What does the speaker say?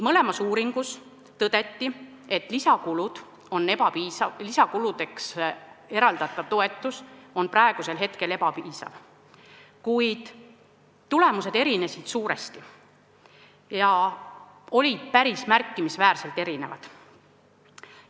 Mõlemas uuringus tõdeti, et lisakuludeks eraldatav toetus on praegu ebapiisav, kuid tulemused erinesid suuresti ja olid päris märkimisväärselt erinevad.